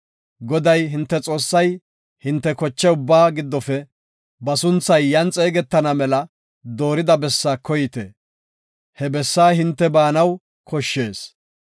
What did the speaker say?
Goday, hinte Xoossay hinte koche ubbaa giddofe ba sunthay yan xeegetana mela doorida bessaa koyte. He bessaa hinte baanaw koshshees.